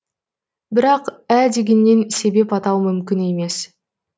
бірақ ә дегеннен себеп атау мүмкін емес